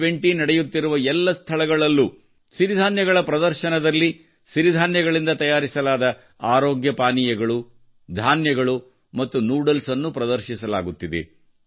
G20 ನಡೆಯುತ್ತಿರುವ ಎಲ್ಲ ಸ್ಥಳಗಳಲ್ಲೂ ಸಿರಿಧಾನ್ಯಗಳ ಪ್ರದರ್ಶನಗಳಲ್ಲಿ ಸಿರಿಧಾನ್ಯಗಳಿಂದ ತಯಾರಿಸಲಾದ ಆರೋಗ್ಯ ಪಾನೀಯಗಳು ಧಾನ್ಯಗಳು ಮತ್ತು ನೂಡಲ್ಸ್ ಅನ್ನು ಪ್ರದರ್ಶಿಸಲಾಗುತ್ತಿದೆ